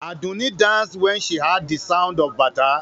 Àdùnní danced when she heard the sound of Bata.